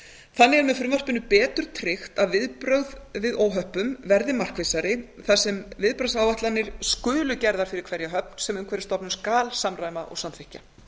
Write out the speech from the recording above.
þannig er með frumvarpinu betur tryggt að viðbrögð við óhöppum verði markvissari þar sem viðbragðsáætlanir skulu gerðar fyrir hverja höfn sem umhverfisstofnun skal samræma og samþykkja